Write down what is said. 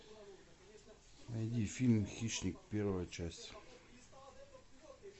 найди фильм хищник первая часть